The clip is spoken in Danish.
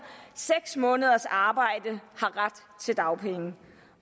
seks måneders arbejde har ret til dagpenge